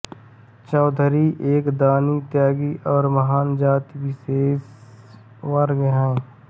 चौधरी एक दानी त्यागी और महान जाति विशेष वर्ग है